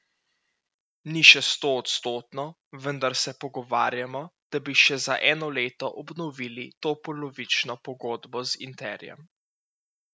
Ni še stoodstotno, vendar se pogovarjamo, da bi še za eno leto obnovili to polovično pogodbo z Interjem.